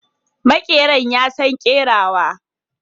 Makeran ya San kerawa.